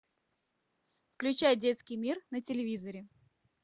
включай детский мир на телевизоре